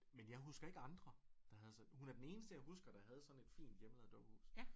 Men jeg husker ikke andre der havde sådan hun er den eneste jeg husker der havde sådan et fint hjemmelavet dukkehus